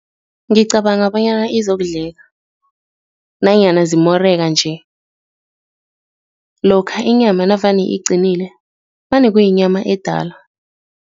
Ngicabanga bonyana izokudleka nanyana zimoreka-nje, lokha inyama navane iqinile vane kuyinyama edala.